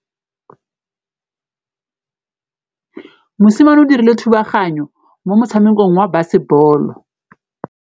Mosimane o dirile thubaganyô mo motshamekong wa basebôlô.